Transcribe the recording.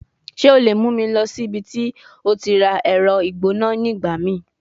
Ṣe o le mu mi lọ si ibiti o ti ra ẹrọ igbona nigbamii?